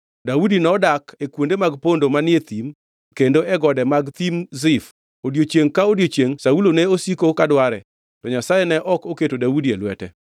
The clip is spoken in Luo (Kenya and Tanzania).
Daudi nodak e kuonde mag pondo manie thim kendo e gode mag Thim Zif; odiechiengʼ ka odiechiengʼ Saulo ne osiko ka dware, to Nyasaye ne ok oketo Daudi e lwete.